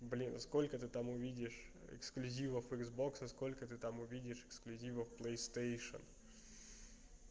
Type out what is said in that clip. блин сколько ты там увидишь эксклюзивов иксбокса сколько ты там увидишь эксклюзивов плейстейшен